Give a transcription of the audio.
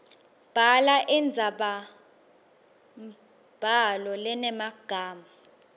bhala indzabambhalo lenemagama